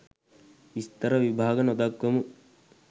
විස්තර විභාග නොදක්වමු.